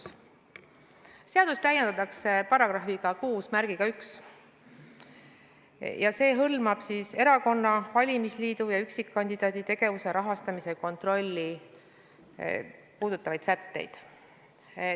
Seaduse 2. peatükki täiendatakse §-ga 61, mis hõlmab siis erakonna, valimisliidu ja üksikkandidaadi tegevuse rahastamise kontrolli puudutavaid sätteid.